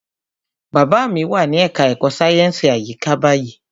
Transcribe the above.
Bàbá mi wà ní ẹka ẹ̀kọ́ sáyẹnsì àyíká báyìí.